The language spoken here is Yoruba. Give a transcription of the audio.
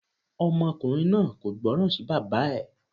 Ọmọkùnrin náà kò gbọ́ràn sí bàbá ẹ̀.